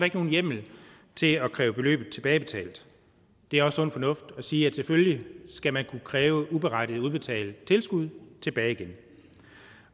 ikke nogen hjemmel til at kræve beløbet tilbagebetalt det er også sund fornuft at sige at selvfølgelig skal man kunne kræve uberettiget udbetalt tilskud tilbage igen